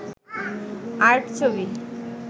art ছবি